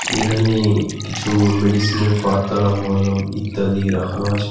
এখানে কিছু মেডিসিনের পাতা মলম ইত্যাদি রাখানো আছে .